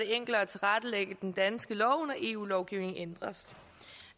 det enklere at tilrettelægge den danske lov når eu lovgivningen ændres